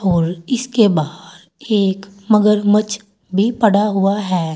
और इसके बाहर एक मगरमच्छ भी पड़ा हुआ है।